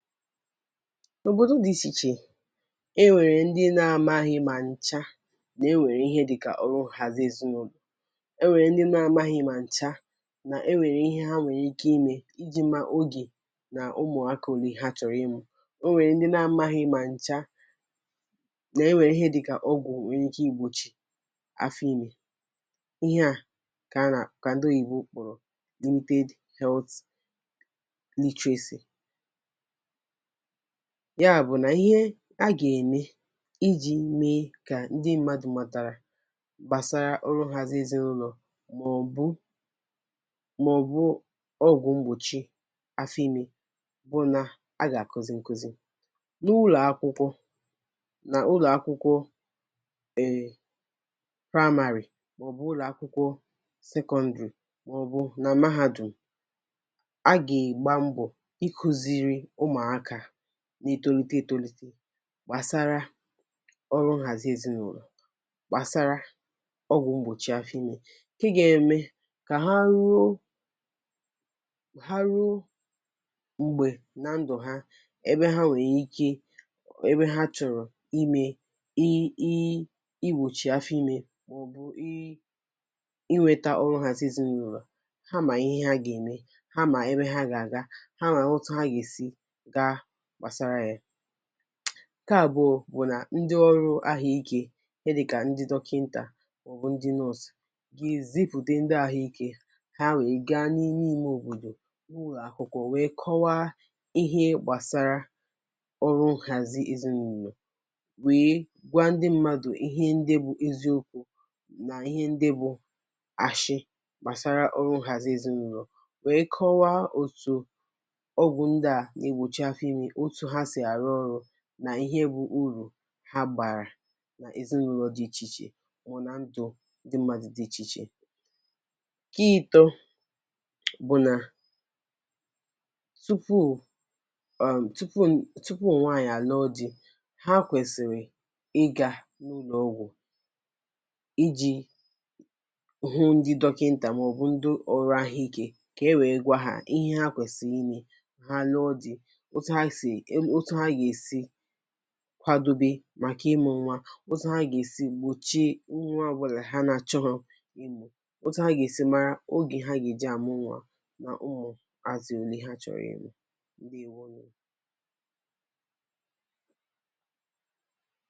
N’obodò dị̀ ichè ichè, e nwèrè ndị́ n’amȧghị́ mà ǹchà, nà e nwèrè ihe dịkà ọrụ nhàzi èzinụ̀lọ̀. É nwèrè ndị́ n’amaghị mà ǹchà, nà e nwèrè ihe ha nwèrè ike ime iji̇ ma ogè na ụmụ̀aka ólé ha chọ̀rọ̀ ịmụ. Ó nwèrè ndị́ n’amaghị́ mà ǹchà, nà e nwèrè ihe dịkà ọgwụ̀ nwèrè ike ìgbochì afọ̀ ime. Íhé à kà a na ka ndị́ oyibo kpọ̀rọ̀ limited health literacy. Ya bụ̀ nà ihe a gà-ème, iji̇ mee kà ndị́ mmadụ matàrà gbasara ọrụ nhàzi èzinụ̀lọ̀, mà ọ̀ bụ mà ọ̀ bụ̀ ọgwụ̀ mgbòchi áfọ́ ịm̀e bụ nà a gà-àkụzi ǹkụzi. N’ụ́lọ̀akwụkwọ na ụ́lọ̀akwụkwọ um primary, mà ọ̀ bụ̀ ụlọ̀akwụkwọ secondary, mà ọ̀ bụ̀ nà mahadùm, a gà-agba mbọ̀ ị́kụ́ziri ụmụaka n’étólíté étólíté gbàsara ọrụ nhàzi ezinụlọ̀; gbàsara ọgwụ̀ mgbòchi afọ ime, nke gà-ème kà ha ruo ka ha ruo m̀gbè na ndụ̀ ha, ebe ha nwèrè ike ebe ha chọ̀rọ̀ ime i i igbòchì afọ ime, mà ọ bụ̀ i inweta ọrụ nhàzi ezinụlọ̀; ha mà ihe ha gè-ème, ha mà ebe ha gà-àga, ha mà ótú há ga esi gáá gbasara ya. Ǹkè abụ̀ọ́ bụ̀ nà ndị́ ọrụ ahụ̀ ike, ihe dịkà ndị dọkịntà, mà ọ bụ̀ ndị nọọsụ; ga ezipùte ndị́ ahụ̀ ike, ha wee gaa n’ime ime òbòdò, n’ụ́lọ̀akwụkwọ wee kọwa ihe gbàsara ọrụ nhàzi èzinụ̀lọ̀; wee gwa ndị́ mmadụ̀ ihe ndị́ bụ eziokwu nà ihe ndị bụ ashị gbasara ọrụ nhazi èzinụlọ̀, wee kọwaa otù ọgwụ ndị́ a n’egbochi afọ ime otu ha si arụ ọru, nà ihe bụ urù ha bàrà nà èzinụlọ̀ dị̇ ichè ichè, wụ̀ nà ndụ ndị́ mmadụ̇ dị̇ ichè ichè. Nke ịtọ bụ̀ nà tupu um tupu tupu nwaànyị̀ àlụ́ọ di, ha kwèsị̀rị̀ ịga n’ụlọ̀ ọgwụ̀ iji̇ hụ ndị́ dọkịntà mà ọ̀ bụ̀ ndị́ ọrụ ahụ̀ ike, kà e wèe gwa ha ihe ha kwèsị̀rị̀ ime; ha lụọ di, otú ha sị ótù hà ga esi kwadobe màkà ịmụ nwa, otu ha gà-èsi gbòchie nwa ọbụlà ha nà-achọghọ ịmụ, otu ha ga-èsi mara ogè ha gè ji àmụ nwa na ụmụ̀àzụ ole ha chọ̀rọ̀ ịmụ. Ǹdewonu.